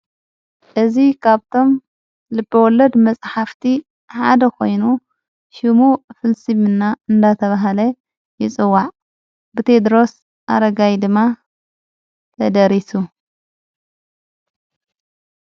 እዝ ኻብቶም ልብወሎድ መጽሕፍቲ ሓደ ኾይኑ ሽሙ ፍልሲምና እንዳተብሃለ ይፅዋዕ ብቴድሮስ ኣረጋይ ድማ ተደሪሱ::